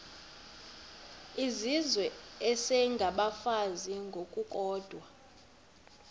izizwe isengabafazi ngokukodwa